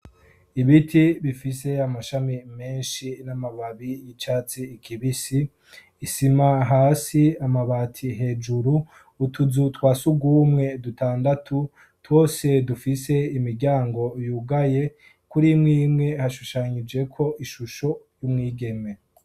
Ibiti bifise amashami menshi n'amababi y'icatsi ikibisi, isima hasi, amabati hejuru, utuzu twasugumwe dutandatu twose dufise imiryango yugaye, kuri imwe imwe hashushanijeko ishusho y'umwigeme.